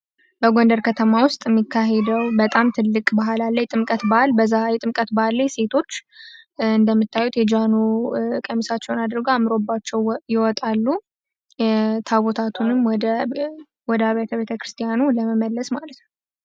በጎንደር ከተማ ውስጥ የሚካሄደው በጣም ትልቅ ባህል አለ። ጥምቀት ባህል በዛ የጥምቀት ባህል ላይ ሴቶች እንደምታዩት የጃኖ ቀምሳቸውን አድርገ አምሮባቸው ይወጣሉ። ታቦታቱንም ወዳ ቤተ ቤተ ክርስቲያኑ ለመመለስ ማለትን ነው።